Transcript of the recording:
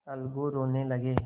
अलगू रोने लगे